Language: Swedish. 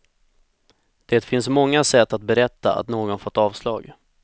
Det finns många sätt att berätta att någon fått avslag.